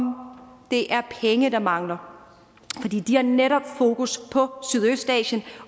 det er penge der mangler de har netop fokus på sydøstasien